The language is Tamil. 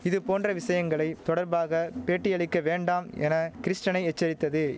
இது போன்ற விஷயங்களை தொடர்பாக பேட்டியளிக்க வேண்டாம் என கிறிஸ்டனை எச்சரித்தது